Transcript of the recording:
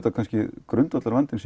grundvallarvandamál